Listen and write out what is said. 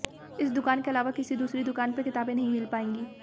इस दुकान के अलावा किसी दूसरी दुकान पर किताबें नहीं मिल पाएंगी